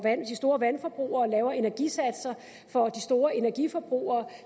de store vandforbrugere og lavere energisatser for de store energiforbrugere